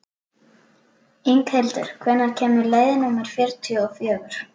Inghildur, hvenær kemur leið númer fjörutíu og fjögur?